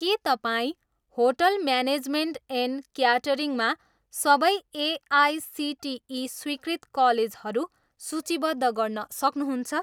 के तपाईँ hotel management and क्याटरिङमा सबै एआइसिटिई स्वीकृत कलेजहरू सूचीबद्ध गर्न सक्नुहुन्छ?